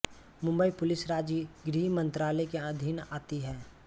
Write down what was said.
Mumbai police राज्य गृह मंत्रालय के अधीन आती है